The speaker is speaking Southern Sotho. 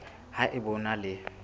ha eba o na le